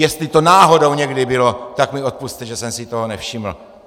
Jestli to náhodou někdy bylo, tak mi odpusťte, že jsem si toho nevšiml.